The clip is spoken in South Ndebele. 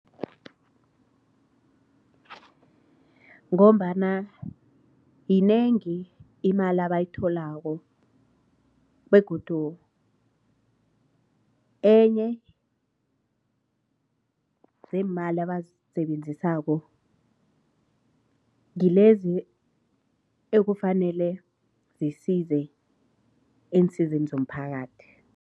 Ngombana yinengi imali abayitholako begodu enye zeemali abazisebenzisako ngilezi ekufanele zisize ensizini zomphakathi.